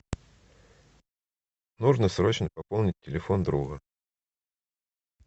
нужно срочно пополнить телефон друга